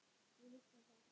Ég hugsa það.